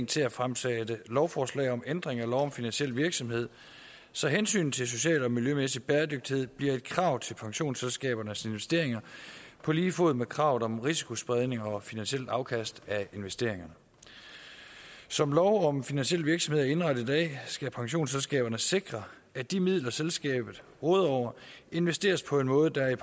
til at fremsætte lovforslag om ændring af lov om finansiel virksomhed så hensynet til social og miljømæssig bæredygtighed bliver et krav til pensionsselskabernes investeringer på lige fod med kravet om risikospredning og finansielt afkast af investeringerne som lov om finansiel virksomhed er indrettet i dag skal et pensionsselskab sikre at de midler selskabet råder over investeres på en måde der er